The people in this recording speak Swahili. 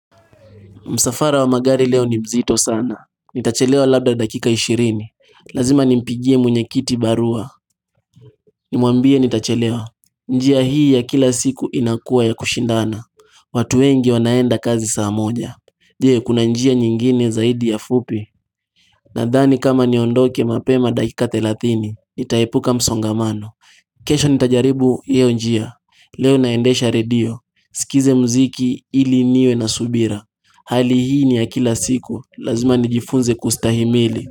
Msafara wa magari leo ni mzito sana Nitachelewa labda dakika 20 Lazima nimpigie munyekiti barua Nimwambie nitachelewa njia hii ya kila siku inakua ya kushindana watu wengi wanaenda kazi saa moja Je kuna njia nyingine zaidi ya fupi Nadhani kama niondoke mapema dakika 30 Nitaepuka msongamano kesho nitajaribu hio njia Leo naendesha radio Sikize mziki ili niwe na subira Hali hii ni yakila siku, lazima nijifunze kustahimili.